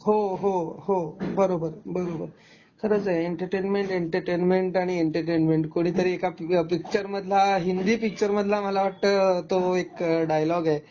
हो, हो, हो, बरोबर, बरोबर खरंच आहे एंटरटेनमेंट, एंटरटेनमेंट आणि एंटरटेनमेंट कुणीतरी एका पिक्चर मधला हिन्दी पिक्चर मधला मला वाटत तो एक डायलॉग ए.